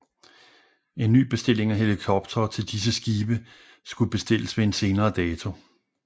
En ny bestilling af helikoptere til disse skibe skulle bestilles ved en senere dato